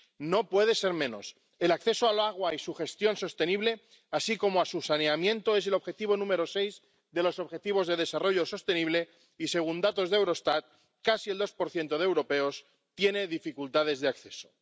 No puede ser menos el acceso al agua y su gestión sostenible, así como a su saneamiento, es el objetivo número seis de los objetivos de desarrollo sostenible y, según datos de Eurostat, casi el 2 de europeos tiene dificultades de acceso.